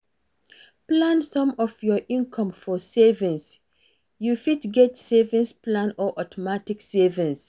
Plan some of your income for savings, you fit get savings plan or automatic savings